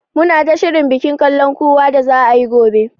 Muna ta shirin bikin kalankuwa da za a yi gobe.